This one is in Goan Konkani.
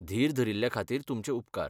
धीर धरिल्ल्या खातीर तुमचे उपकार.